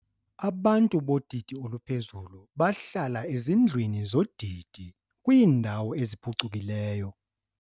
Abantu bodidi oluphezulu bahlala ezindlwini zodidi kwiindawo eziphucukileyo.